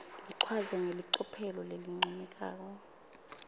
ichazwe ngelicophelo lelincomekako